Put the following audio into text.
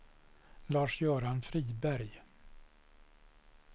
Lars-Göran Friberg